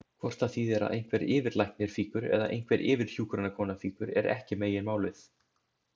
Hvort það þýðir að einhver yfirlæknir fýkur eða einhver yfirhjúkrunarkona fýkur er ekki meginmálið.